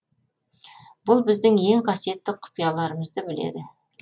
бұл біздің ең қасиетті құпияларамызды біледі